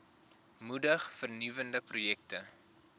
moedig vernuwende projekte